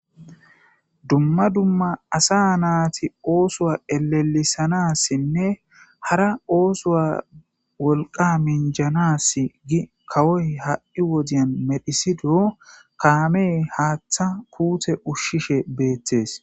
dumma dumma asa naati oosowa elelisanassinne hara oosoa wolqa minjanass gi kawoy ha7i wodiyan medhisido kaamey haaththa kuute ushshishe beettees